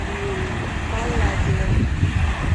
палладиум